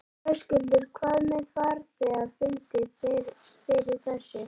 Höskuldur: Hvað með farþega, fundu þeir fyrir þessu?